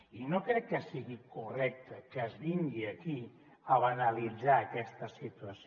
i no crec que sigui correcte que es vingui aquí a banalitzar aquesta situació